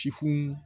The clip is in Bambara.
Tifo